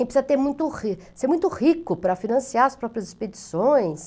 E precisa ter muito ri, ser muito rico para financiar as próprias expedições.